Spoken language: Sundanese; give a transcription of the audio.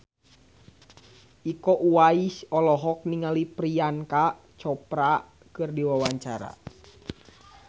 Iko Uwais olohok ningali Priyanka Chopra keur diwawancara